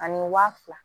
Ani wa fila